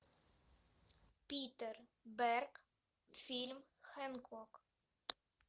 питер берг фильм хэнкок